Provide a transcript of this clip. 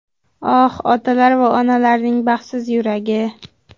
Oh, otalar va onalarning baxtsiz yuragi!